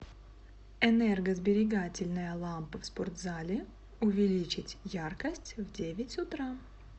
энергосберегательная лампа в спортзале увеличить яркость в девять утра